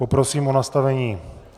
Poprosím o nastavení...